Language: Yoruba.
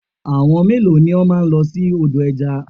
Àwọn mélòó ni o máa lọ sí odò ẹja?